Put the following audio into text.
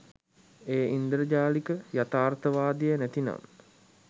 එය ඉන්ද්‍රජාලික යථාර්ථවාදය නැතිනම්